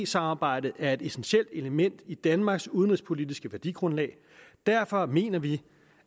samarbejdet er et essentielt element i danmarks udenrigspolitiske værdigrundlag derfor mener vi